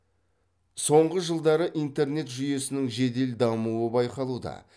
соңғы жылдары интернет жүйесінің жедел дамуы байқалуда